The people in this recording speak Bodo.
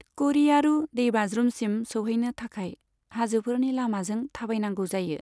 क'रियारू दैबाज्रुमसिम सौहैनो थाखाय हाजोफोरनि लामाजों थाबायनांगौ जायो।